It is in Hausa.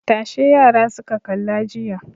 Tashe yara suka kalla jiya.